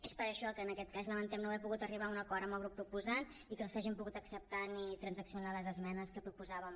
és per això que en aquest cas lamentem no haver pogut arribar a un acord amb el grup proposant i que no s’hagin pogut acceptar ni transaccionar les esmenes que proposàvem